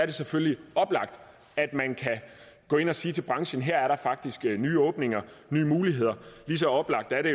det selvfølgelig oplagt at gå ind og sige til brancen at her er der faktisk nye åbninger og nye muligheder og lige så oplagt er det